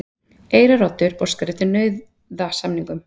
Eyraroddi óskar eftir nauðasamningum